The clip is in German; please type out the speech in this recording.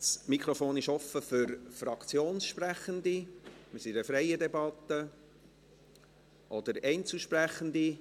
Das Mikrofon ist offen für Fraktionssprechende – wir sind in einer freien Debatte – oder Einzelsprechende.